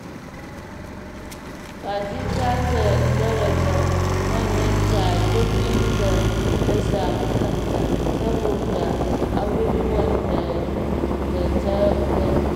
Fati za ta daraja manyanta a duk inda ta samu kanta saboda abubuwan da ta gani.